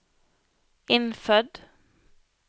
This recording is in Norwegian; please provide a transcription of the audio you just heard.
innfødt